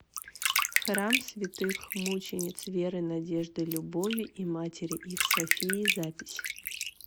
храм святых мучениц веры надежды любови и матери их софии запись